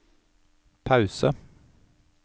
pause